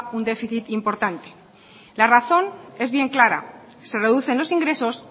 un déficit importante la razón es bien clara se reducen los ingresos